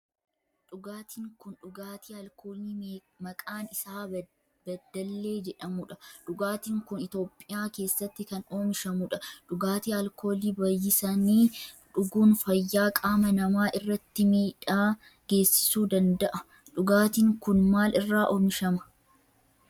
Dhugaatiin kun dhugaatii alkoolii maqaan isaa bedellee jedhamudha. dhugaatiin kun Itiyoophiyaa keessatti kan oomishamudha. dhugaatii alkoolii baayyisanii dhuguun fayyaa qaama namaa irratti miidhaa geessisuu danada'a. dhugaatin kun maal irraa oomishama?